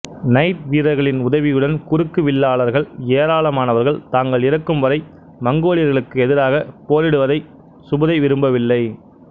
night வீரர்களின் உதவியுடன் குறுக்கு வில்லாளர்கள் ஏராளமானவர்கள் தாங்கள் இறக்கும்வரை மங்கோலியர்களுக்கு எதிராகப் போரிடுவதைத் சுபுதை விரும்பவில்லை